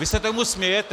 Vy se tomu smějete.